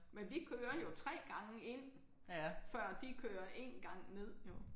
Men vi kører jo 3 gange ind før de kører 1 gang ned jo